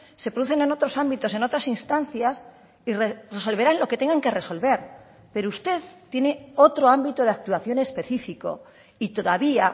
se producen en otros ámbitos en otras instancias y resolverán lo que tengan que resolver pero usted tiene otro ámbito de actuación especifico y todavía